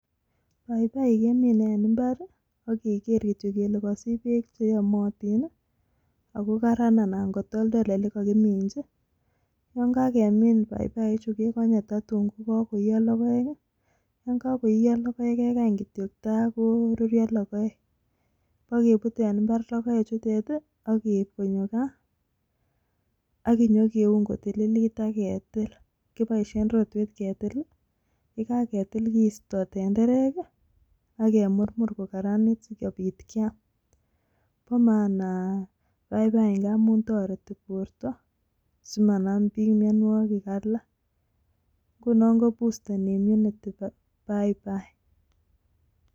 Paibai kemine en mbar akiker kityok ile kosich beek cheyomotin ako karaan ana kotoltol elekokiminchi yongokemin Paibaichu kekonye totun kokoiyo logoek, yongokoiyo logoek kekany kityok takorurio logoek ,bokebut en mbar logoechutet akeip kopaa kaa akinyokeun kotililit kiboisien rotwet ketil ,yekaketil kisto tenderek akemurmur kokararanit sikiam po maana Paibai ngamun toreti borto simanam biik mianwokik alak ngunon 'kobusteni immunity' Paibai.